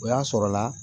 O y'a sɔrɔla